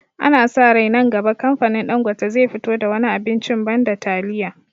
Ana sa rai nan gaba kamfanin Ɗangote zai fito da wani abincin banda taliya